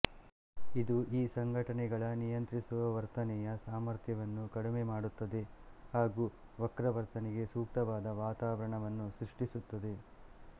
ಇದು ಈ ಸಂಘಟನೆಗಳ ನಿಯಂತ್ರಿಸುವ ವರ್ತನೆಯ ಸಾಮರ್ಥ್ಯವನ್ನು ಕಡಿಮೆ ಮಾಡುತ್ತದೆ ಹಾಗೂ ವಕ್ರ ವರ್ತನೆಗೆ ಸೂಕ್ತವಾದ ವಾತಾವರಣವನ್ನು ಸೃಷ್ಟಿಸುತ್ತದೆ